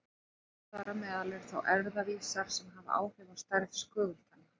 Þar á meðal eru þá erfðavísar sem hafa áhrif á stærð skögultanna.